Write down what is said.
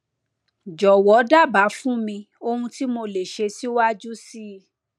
jọwọ dábàá fún mi ohun tí mo lè ṣe síwájú sí i